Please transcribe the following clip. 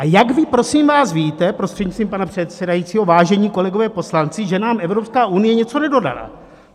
A jak vy, prosím vás, víte, prostřednictvím pana předsedajícího, vážení kolegové poslanci, že nám Evropská unie něco nedodala?